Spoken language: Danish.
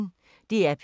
DR P1